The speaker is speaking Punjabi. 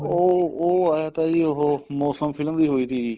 ਉਹ ਉਹ ਏ ਤਾਂ ਜੀ ਉਹ ਮੋਸਮ film ਦੀ ਹੋਈ ਤੀ ਜੀ